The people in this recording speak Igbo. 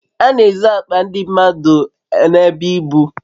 A n'ezu akpa ndi mmadu n'ebe ibu